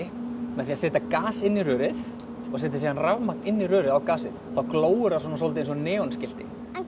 með því að setja gas inn í rörið og setja síðan rafmagn inn í rörið á gasið þá glóir það soldið eins og neonskilti hvað